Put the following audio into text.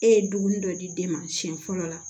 E ye dumuni dɔ di den ma siyɛn fɔlɔ la